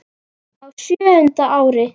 Á sjöunda ári